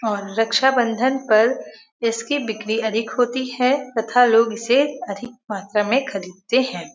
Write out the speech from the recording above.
और रक्षाबंधन पर इसकी बिक्री अधिक होती है तथा लोग इसे अधिक मात्रा में खरीदते हैं।